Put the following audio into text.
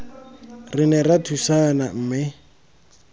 re ne ra thusana mme